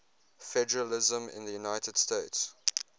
federalism in the united states